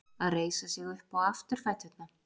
Að reisa sig upp á afturfæturna